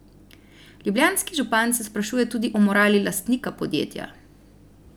Ljubljanski župan se sprašuje tudi o morali lastnika podjetja.